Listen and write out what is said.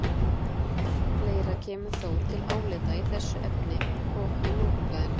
Fleira kemur þó til álita í þessu efni, og í Morgunblaðinu